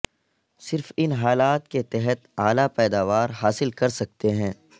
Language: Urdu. صرف ان حالات کے تحت اعلی پیداوار حاصل کر سکتے ہیں